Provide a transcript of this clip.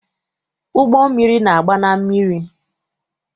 Ụgbọmmiri na-agba na mmiri.